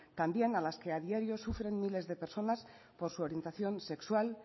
también a las que adiario sufren miles de personas por su orientación sexual